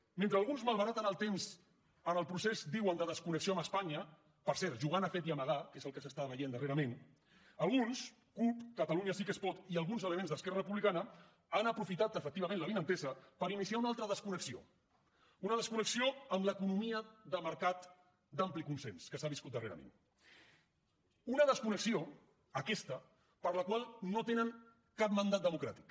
mentre alguns malbaraten el temps en el procés diuen de desconnexió amb espanya per cert jugant a fet i amagar que és el que s’està veient darrerament alguns cup catalunya sí que es pot i alguns elements d’esquerra republicana han aprofitat efectivament l’avinentesa per iniciar una altra desconnexió una desconnexió amb l’economia de mercat d’ampli consens que s’ha viscut darrerament una desconnexió aquesta per a la qual no tenen cap mandat democràtic